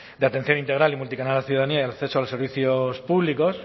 de atención integral y multicanal a la ciudadanía y el acceso a los servicios públicos